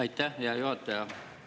Aitäh, hea juhataja!